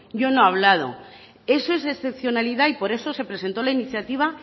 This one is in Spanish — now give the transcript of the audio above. yo no he hablado eso es excepcionalidad y por eso se presentó la iniciativa